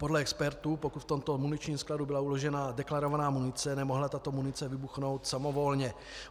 Podle expertů, pokud v tomto muničním skladu byla uložena deklarovaná munice, nemohla tato munice vybuchnout samovolně.